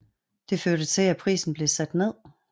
Det førte til at prisen blev sat ned